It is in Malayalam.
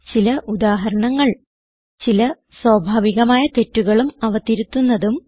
ചില ഉദാഹരണങ്ങൾ ചില സ്വാഭാവികമായ തെറ്റുകളും അവ തിരുത്തുന്നതും